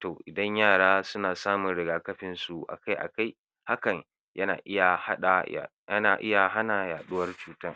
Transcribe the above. To, idan yara suna samun riga-kafinsu a kai a kai hakan yana iya haɗa, yana iya hana yaɗuwar cutan.